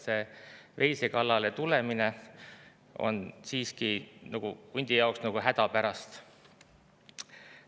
See veise kallale tulemine on siiski hundi jaoks nagu häda pärast.